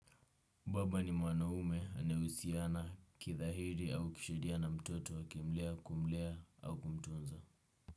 Baba ni mwanaume anayehusiana kidhahiri au kisheria na mtoto akimlea kumlea au kumtunza.